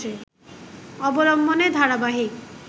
অবলম্বনে ধারাবাহিক